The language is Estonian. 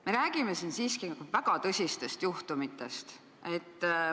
Me räägime siin siiski väga tõsistest juhtumitest.